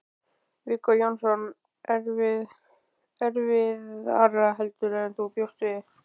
Viggó Jónsson: Erfiðara heldur en þú bjóst við?